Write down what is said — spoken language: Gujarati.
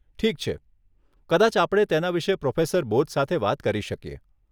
ઠીક છે, કદાચ આપણે તેના વિશે પ્રોફેસર બોઝ સાથે વાત કરી શકીએ.